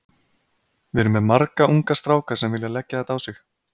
Við erum með marga unga stráka sem vilja leggja þetta á sig.